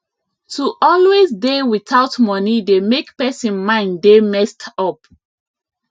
to always dey without money dey make pesin mind dey messed up